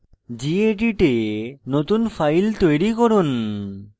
gedit a নতুন file তৈরি করুন